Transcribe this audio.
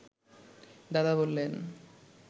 দাদা বললেন